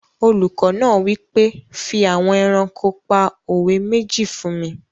Olùkọ́ náà wí pé "fi àwọn ẹranko pa òwe méjì fún mi!"